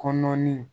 Kɔnɔnin